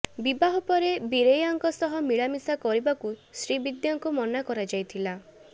ବିବାହ ପରେ ବୀରେୟାଙ୍କ ସହ ମିଳାମିଶା କରିବାକୁ ଶ୍ରୀବିଦ୍ୟାଙ୍କୁ ମନା କରାଯାଇଥିଲା